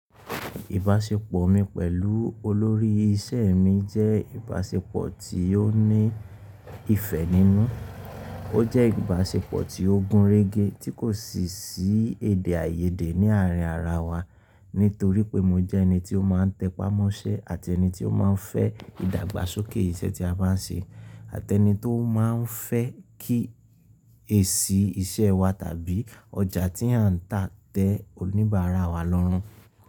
Ìbáṣepọ̀ mi pẹ̀lú olórí iṣẹ́ mi jẹ́ ìbáṣepọ̀ tí ó ní ìfẹ́ nínú. Ó jẹ́ ìbáṣepọ̀ tí ó gúnrégé tí kò sì sí èdè àìyédè ní àárín ara wa nítorí pé mo jẹ́ ẹni tí ó má n tẹpá mọ́ṣẹ́ àti ẹni tí ó má n fẹ́ ìdàgbàsókè iṣẹ́ tí a bá n ṣe àti ẹni tó má n fẹ́ kí èsì iṣẹ́ wa tàbí ọjà tí à ń tà tẹ oníbàárà wa lọ́run.